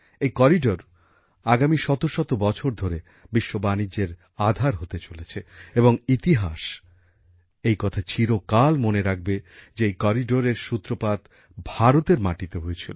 এই করিডোর আগামী শত শত বছর ধরে বিশ্ব বাণিজ্যের ক্ষেত্রে গুরুত্বপূর্ণ হতে চলেছে এবং ইতিহাস এই কথা চিরকাল মনে রাখবে যে এই করিডোরের সূত্রপাত ভারতের মাটিতে হয়েছিল